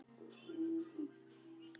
Að lokum, Lilja.